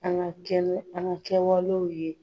An ga kɛnɛ an ga kɛwalew ye